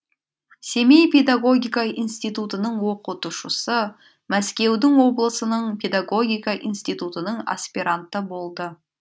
семей педагогика институтының оқытушысы мәскеудің облысының педагогика институтының аспиранты болды